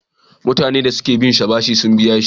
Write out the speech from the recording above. Mutane da suki binsa bashi sun biya jiya.